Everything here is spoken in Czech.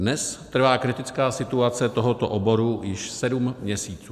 Dnes trvá kritická situace tohoto oboru již sedm měsíců.